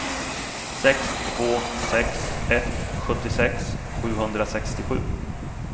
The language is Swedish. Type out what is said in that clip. sex två sex ett sjuttiosex sjuhundrasextiosju